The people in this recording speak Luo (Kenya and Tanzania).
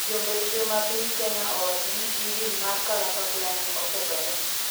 Jombetre ma piny Kenya owacho ni injin mar kalapapla ne okethore